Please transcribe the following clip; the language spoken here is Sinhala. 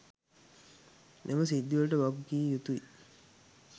මෙම සිද්ධිවලට වගකිවයුතුයි